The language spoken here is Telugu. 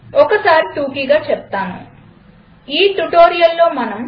ఒకసారి టూకీగా చేప్తానుఈ ట్యుటోరియల్లో మనం